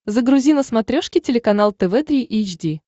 загрузи на смотрешке телеканал тв три эйч ди